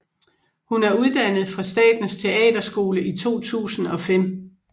Hun er uddannet fra Statens Teaterskole i 2005